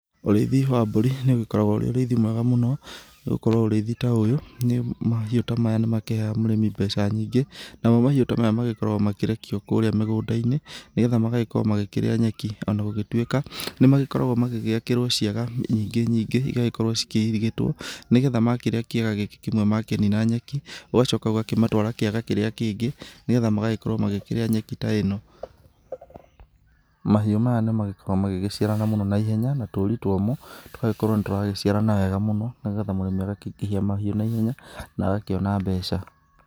Ũrĩithi wa mbũri nĩũgĩkoragwo ũrĩ ũrĩithi mwega mũno, nĩgũkorwo ũrĩithi ta ũyũ, mahiũ ta maya nĩ makĩheaga mũrĩmi mbeca nyingĩ. Namo mahiũ ta maya magĩkoragwo makĩrekio kũrĩa mĩgũnda-inĩ nĩgetha magagĩkorwo magĩkĩrĩa nyeki ona gũgĩgĩtuĩka, nĩ magĩakagĩrwo ciaga nyingĩ nyingĩ igagĩgĩkorwo cikĩirigĩtwo, nĩgetha makĩrĩa kia gagĩkĩ makĩnina nyeki, ũgacoka ũgakĩmĩtwara kĩaga kĩrĩa kĩngĩ, nĩgetha magagĩgĩkorwo magĩkĩrĩa nyeki ta ĩno. Mahiũ maya nĩmagĩgĩkoragwo magĩgĩciarana mũno na ihenya na tũkĩrĩ twamo tũgagĩgĩkorwo nĩ tũraciarana wega mũno na nĩgetha mũrĩmi agakĩingĩhia mahiũ na ihenya mũno, na agakĩona mbeca.